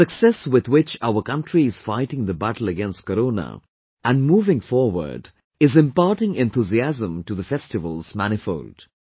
The success with which our country is fighting the battle against Corona and moving forward is imparting enthusiasm to the festivals manifold